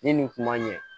Ni nin kun man ɲɛ